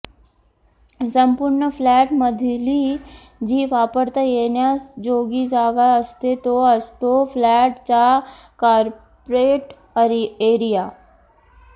संपूर्ण फ्लॅट मधली जी वापरता येण्याजोगी जागा असते तो असतो फ्लॅट चा कार्पेट एरिया